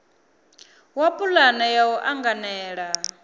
wa pulane ya u anganela